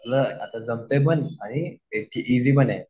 तुला आता जमतंय पण आणि ईजी पण आहे.